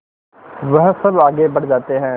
वह सब आगे बढ़ जाते हैं